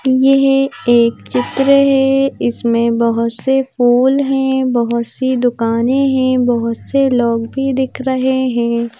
येह एक चित्र है इसमें बहुत से फूल है बहुत सी दुकानें हैं बहुत से लोग भी दिख रहे हैं।